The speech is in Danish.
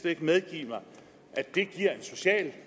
ikke medgive mig at det giver en social